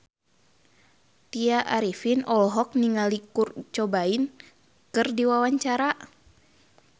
Tya Arifin olohok ningali Kurt Cobain keur diwawancara